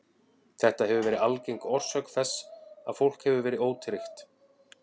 Þetta hefur verið algeng orsök þess að fólk hefur verið ótryggt.